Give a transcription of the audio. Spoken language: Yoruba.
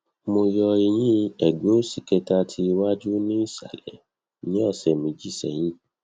mo yo eyin egbe osi keta ti iwaju ni isale ni ose meji seyin